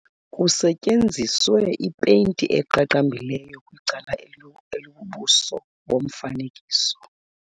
Kusetyenziswe ipeyinti eqaqambileyo kwicala elibubuso bomfanekiso.